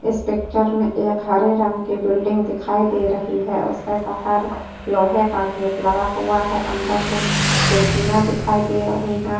इस पिक्चर में एक हरे रंग की बिल्डिंग दिखाई दे रही है उसके बाहर लोहे का गेट लगा हुआ है अंदर कुछ कुर्सियाँ दिखाई दे रही हैं।